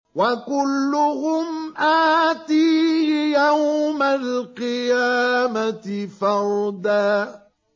وَكُلُّهُمْ آتِيهِ يَوْمَ الْقِيَامَةِ فَرْدًا